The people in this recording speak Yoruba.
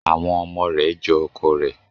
Àwọn ọmọ re jo ọkọ rẹ